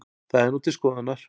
Það er nú til skoðunar